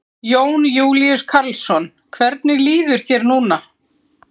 Jón Júlíus Karlsson: Hvernig líður þér núna?